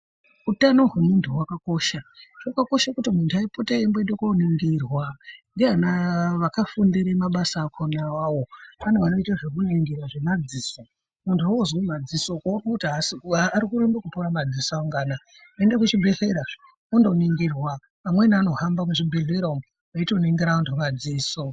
Utano hwemuntu hwakakosha hwakakosha kuti muntu apote eimboenda koningirwa ndiana vakafundira mabasa akona awawo pane vanoita zvekuningira zvemadziso kana wozwa madziso ukaone kuti arikurambe kupora madziso angu anaya ende kuzvibhedhlera zve undoningirwa amweni anohamba muzvibhedhlera umwu veitoningira antu madziso.